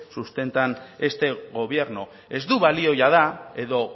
sustentan este gobierno ez du balio jada edo